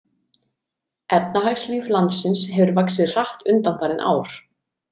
Efnahagslíf landsins hefur vaxið hratt undanfarin ár.